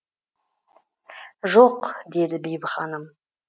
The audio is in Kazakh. жоқ деді бибі ханым